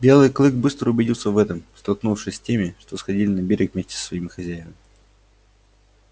белый клык быстро убедился в этом столкнувшись с теми что сходили на берег вместе со своими хозяевами